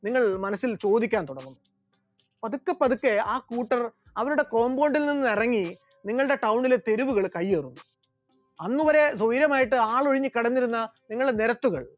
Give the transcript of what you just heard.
നിങ്ങൾ മനസ്സിൽ ചോദിക്കാൻ തുടങ്ങും, പതുക്കെ പതുക്കെ ആ കൂട്ടർ അവരുടെ compound ൽ നിന്ന് ഇറങ്ങി നിങ്ങളുടെ town ലെ തെരുവുകൾ കയ്യേറും, അന്നുവരെ തുയരമായിട്ട് ആളൊഴിഞ്ഞു കിടന്നിരുന്ന നിങ്ങളുടെ നിരത്തുകൾ